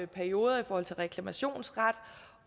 perioder for reklamationsretten